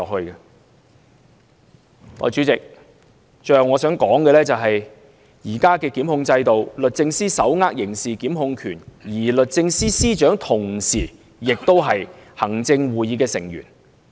代理主席，最後我想說的是，在現行檢控制度下，律政司手握刑事檢控權，而律政司司長同時也是行政會議成員。